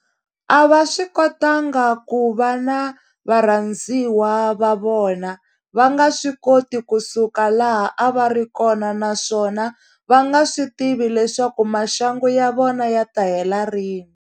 A va swi kotanga ku va na varhandziwa va vona, va nga swi koti ku suka laha a va ri kona naswona va nga swi tivi leswaku maxangu ya vona ya ta hela rini.